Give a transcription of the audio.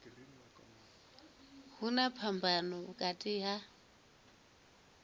hu na phambano vhukati ha